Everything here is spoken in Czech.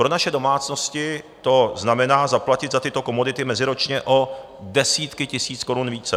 Pro naše domácnosti to znamená zaplatit za tyto komodity meziročně o desítky tisíc korun více.